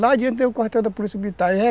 Lá adiante tem o quartel da Polícia Militar